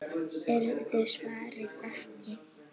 Urður svarað ekki.